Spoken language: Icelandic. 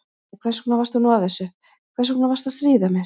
Æ, hvers vegna varstu nú að þessu, hvers vegna varstu að stríða mér?